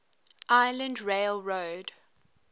island rail road